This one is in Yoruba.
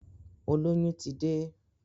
Olóyún ti dé